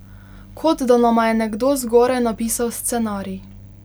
Kot da nama je nekdo zgoraj napisal scenarij.